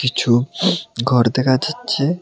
কিছু ঘর দেখা যাচ্ছে।